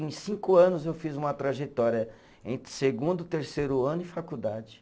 Em cinco anos eu fiz uma trajetória entre segundo, terceiro ano e faculdade.